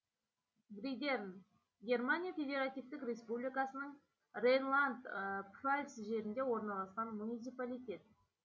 бридерн германия федеративтік республикасының рейнланд пфальц жерінде орналасқан муниципалитет